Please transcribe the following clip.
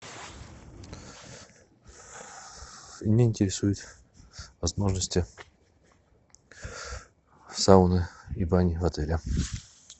меня интересуют возможности сауны и бани в отеле